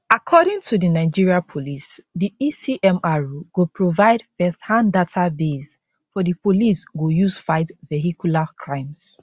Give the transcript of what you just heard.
according to di nigeria police di ecmr go provide firsthand database for di police go use fight vehicular crimes